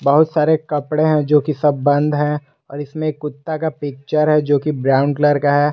बहुत सारे कपड़े हैं जो कि सब बंद है और इसमें कुत्ता का पिक्चर है जोकि ब्राऊन कलर का है।